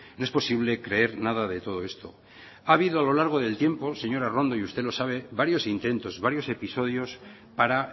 no es posible creer nada de todo esto ha habido a lo largo del tiempo señora arrondo y usted lo sabe varios intentos varios episodios para